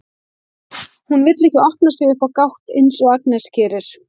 Hún vill ekki opna sig upp á gátt eins og Agnes gerir.